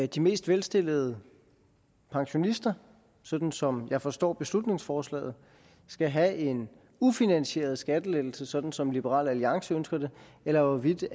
de mest velstillede pensionister sådan som jeg forstår beslutningsforslaget skal have en ufinansieret skattelettelse sådan som liberal alliance ønsker det eller hvorvidt